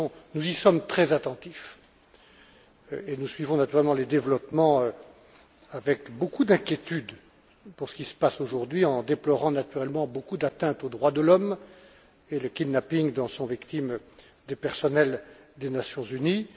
Nous y sommes très attentifs, et nous suivons naturellement les développements avec beaucoup d'inquiétude pour ce qui se passe aujourd'hui, en déplorant naturellement beaucoup d'atteintes aux droits de l'homme et le kidnapping dont sont victimes des personnels des Nations unies.